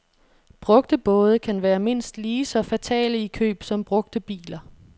Brugte både kan være mindst lige så fatale i køb som brugte biler.